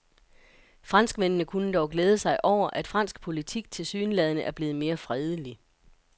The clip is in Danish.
Franskmændene kunne dog glæde sig over, at fransk politik tilsyneladende er blevet mere fredelig.